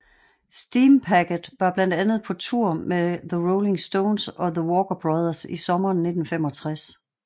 Steampacket var blandt andet på tour med The Rolling Stones og the Walker Brothers i sommeren 1965